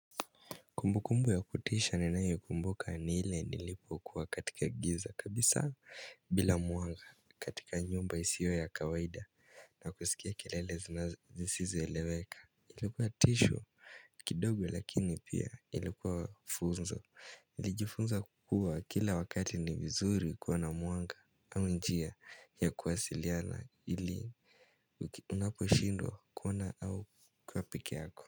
Kumbukumbu ya kutisha ninayokumbuka ni ile nilipokuwa katika giza kabisa bila mwanga katika nyumba isiyo ya kawaida na kusikia kelele zisizoeleweka. Ilikuwa tisho kidogo lakini pia ilikuwa funzo nilijifunza kuwa kila wakati ni vizuri kuwa na mwanga au njia ya kuwasiliana ili unaposhindwa kuona au kuwa pekee yako.